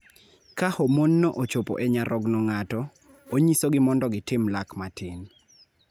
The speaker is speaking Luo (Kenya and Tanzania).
Ka homonno ochopo e nyarogno ng�ato, onyisogi mondo gitim lak matin.